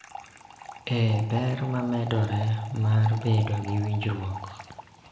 E ber ma medore mar bedo gi winjruok